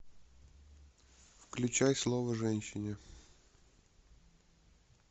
включай слово женщине